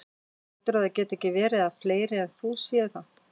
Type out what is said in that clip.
Heldurðu að það geti ekki verið að fleiri en þú séu það?